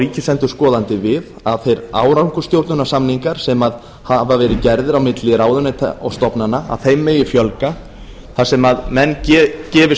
ríkisendurskoðandi við að þeim árangursstjórnunarsamningum sem hafa verið gerðir á milli ráðuneyta og stofnana megi fjölga þar sem menn gefi